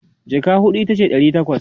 jaka huɗu itace Dari takwas